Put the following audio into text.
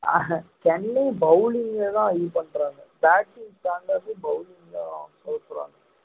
Chennai bowling லதான் இது பண்றாங்க bating